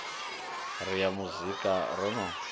ri ya muzika ro no